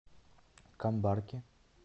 камбарки